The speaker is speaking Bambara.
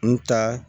N ta